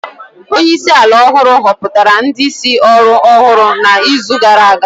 Onye isi ala ọhụrụ họpụtara ndị isi ọrụ ọhụrụ n'izu gara aga